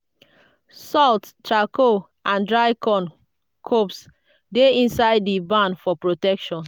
salt charcoal and dry corn cobs dey inside di barn for protection.